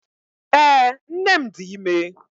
ee, nnem di ime.